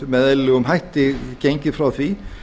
með eðlilegum hætti gengið frá því